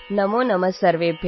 नमोनमः सर्वेभ्यः